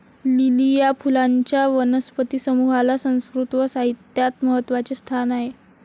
Lily या फुलांच्या वनस्पती समूहाला संस्कृत व साहित्यात महत्वाचे स्थान आहे.